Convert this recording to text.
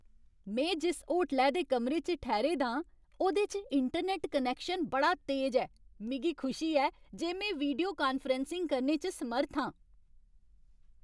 में जिस होटलै दे कमरे च ठैह्रे दा आं, ओह्दे च इंटरनैट्ट कनैक्शन बड़ा तेज ऐ। मिगी खुशी ऐ जे में वीडियो कान्फ्रैंसिंग करने च समर्थ आं।